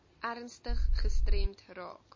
ernstig gestremd raak